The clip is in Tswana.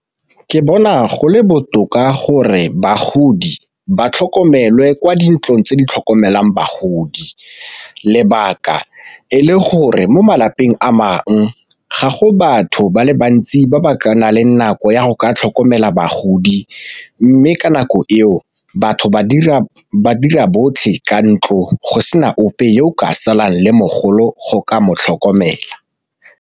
Ke bona go le botoka gore bagodi ba tlhokomelwe kwa dintlong tse di tlhokomelang bagodi, lebaka e le gore mo malapeng a ga go batho ba le ba ntsi ba ba nang le nako ya go ka tlhokomela bagodi. Mme ka nako eo batho ba dira botlhe ka ntlo go sena ope yo o ka salang le mogolo go ka motlhokomela.